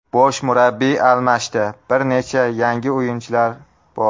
Bosh murabbiy almashdi, bir necha yangi o‘yinchilar bor.